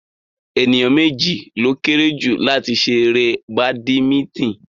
Ènìyàn méjì ló kéré jù láti ṣe eré badimítìn